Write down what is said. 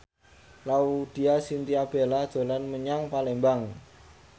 Laudya Chintya Bella dolan menyang Palembang